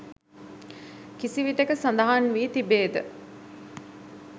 කිසිවිටෙක සඳහන් වී තිබේද?